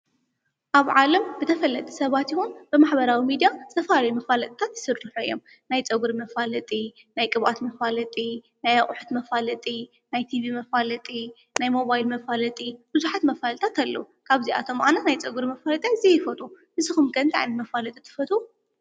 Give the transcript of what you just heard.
አብ ዓለም ብተፈለጥቲ ሰባት ይኩን ብማሕበራዊ ሚደያ ዝተፈላለዩ መፋለጥታት ይስሩሑ እዮም። ናይ ፀጉሪ መፋለጢ፣ ናይ ቅብአት መፋለጢ፣ ናይ አቁሑ መፋለጢ፣ ናይ ቲቪ መፋለጢ፣ ናይ ሞባይል መፋለጢ፣ ብዘሓት መፋለጢታት አለው። ካብዚአቶም አነ ናይ ፀጉሪ መፋለጢ ኣዚየ ይፈትዎ ንስኩም ከ እንታይ ዓይነት መፋለጢ ትፈትው?